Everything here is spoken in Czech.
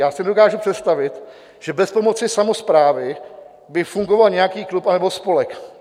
Já si nedokážu představit, že bez pomoci samosprávy by fungoval nějaký klub anebo spolek.